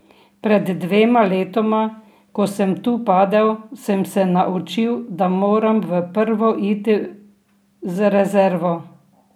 Pred dvema letoma, ko sem tu padel, sem se naučil, da moram v prvo iti z rezervo.